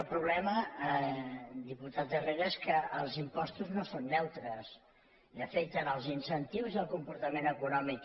el problema diputat herrera és que els impostos no són neutres i afecten els incentius i el comportament econòmic